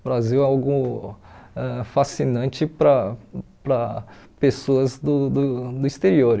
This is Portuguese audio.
O Brasil é algo ãh fascinante para para pessoas do do do exterior.